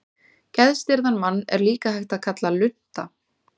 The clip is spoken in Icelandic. Geðstirðan mann er líka hægt að kalla lunta.